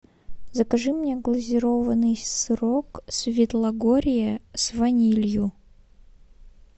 закажи мне глазированный сырок светлогорье с ванилью